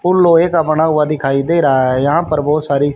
पुल लोहे का बना हुआ दिखाई दे रहा है यहां पर बहुत सारी--